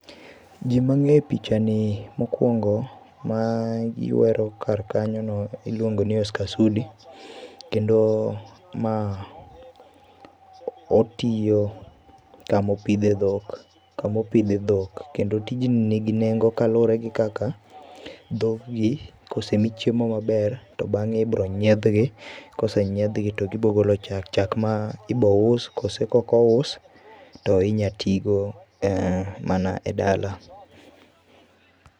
Jii mang'ee e pichani mokuongo mayuero kar kanyo no iluongo ni Oscar Sudi kendo ma, otiyo kama opidhe dhok, kama opidhe dhok ,kendo tijni nigi nengo kaluore gi kaka dhog gi kosemi chiemo maber to bang'e ibo nyiedh gi kosenyiedh gi to gibo golo chak, chak ma ibo us koso ka ok ouso to inya tigo mana e dala